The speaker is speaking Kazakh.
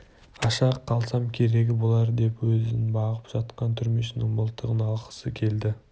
аша қалсам керегі болар деп өзін бағып жатқан түрмешінің мылтығын алғысы келді